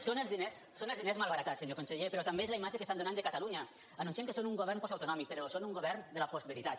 són els diners són els diners malbaratats senyor conseller però també és la imatge que estan donant de catalunya anunciant que són un govern postautonòmic però són un govern de la postveritat